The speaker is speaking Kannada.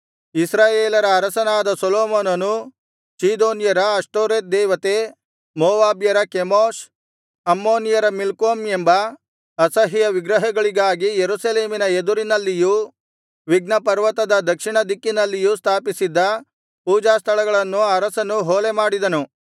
ಇಸ್ರಾಯೇಲರ ಅರಸನಾದ ಸೊಲೊಮೋನನು ಚೀದೋನ್ಯರ ಅಷ್ಟೋರೆತ್ ದೇವತೆ ಮೋವಾಬ್ಯರ ಕೆಮೋಷ್ ಅಮ್ಮೋನಿಯರ ಮಿಲ್ಕೋಮ್ ಎಂಬ ಅಸಹ್ಯ ವಿಗ್ರಹಗಳಿಗಾಗಿ ಯೆರೂಸಲೇಮಿನ ಎದುರಿನಲ್ಲಿಯೂ ವಿಘ್ನಪರ್ವತದ ದಕ್ಷಿಣದಿಕ್ಕಿನಲ್ಲಿಯೂ ಸ್ಥಾಪಿಸಿದ್ದ ಪೂಜಾಸ್ಥಳಗಳನ್ನು ಅರಸನು ಹೊಲೆ ಮಾಡಿದನು